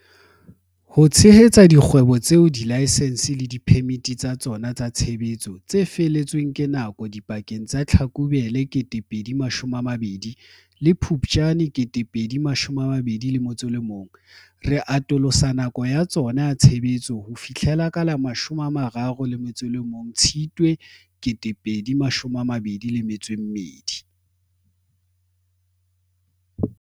Ho tshehetsa dikgwebo tseo dilaesense le diphemiti tsa tsona tsa tshebetso tse fele tsweng ke nako dipakeng tsa Tlhakubele 2020 le Phuptjane 2021, re atolosa nako ya tsona ya tshebetso ho fihlela ka la 31 Tshitwe 2022.